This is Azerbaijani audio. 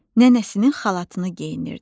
Nənəsinin xalatını geyinirdi.